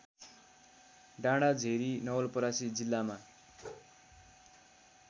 डाँडाझेरी नवलपरासी जिल्लामा